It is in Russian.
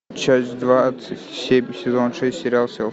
часть двадцать семь сезон шесть сериал селфи